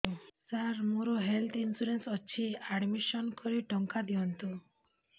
ସାର ମୋର health insurance ଅଛି admission କରି ଟଙ୍କା ଦିଅନ୍ତୁ